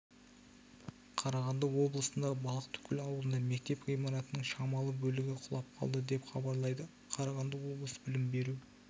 қарағанды облысындағы балықтыкөл ауылында мектеп ғимаратының шамалы бөлігі құлап қалды деп хабарлайды қарағанды облысы білім беру